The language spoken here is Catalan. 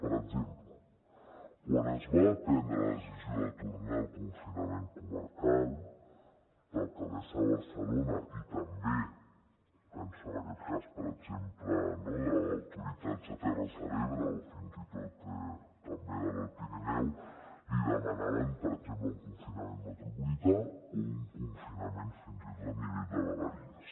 per exemple quan es va prendre la decisió de tornar al confinament comarcal l’alcaldessa de barcelona i també penso en aquest cas per exemple no autoritats de terres de l’ebre o fins i tot també de l’alt pirineu li demanaven per exemple un confinament metropolità o un confinament fins i tot a nivell de vegueries